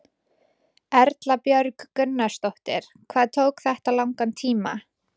Erla Björg Gunnarsdóttir: Hvað tók þetta langan tíma?